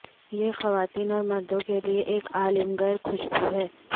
یہ خواتین اور مردوں کے لئے ایک عالمگیر خوشبو ہے